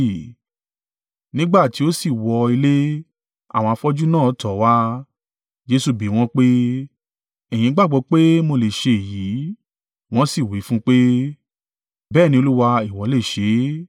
Nígbà tí ó sì wọ̀ ilé, àwọn afọ́jú náà tọ̀ ọ́ wá, Jesu bi wọ́n pé, “Ẹ̀yin gbàgbọ́ pé mo le ṣe èyí?” Wọn sì wí fún un pé, “Bẹ́ẹ̀ ni Olúwa, ìwọ lè ṣe é.”